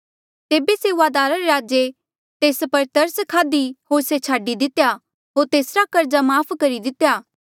तेबे सेऊआदारा रे राजे तेस पर तरस खाधी होर से छाडी दितेया होर तेसरा कर्जा माफ़ करी दितेया